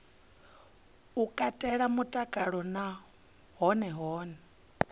katela mutakalo na hone hune